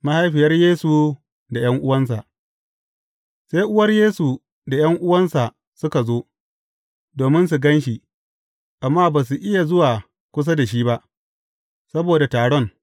Mahaifiyar Yesu da ’yan’uwansa Sai uwar Yesu da ’yan’uwansa suka zo, domin su gan shi, amma ba su iya zuwa kusa da shi ba, saboda taron.